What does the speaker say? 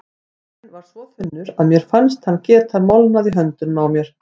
Pappírinn var svo þunnur að mér fannst hann geta molnað í höndunum á mér.